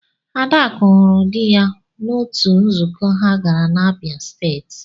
Adaku hụrụ dị ya n'otu nzukọ ha gara na Abia State.